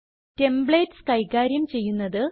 templates കൈകാര്യം ചെയ്യുന്നത്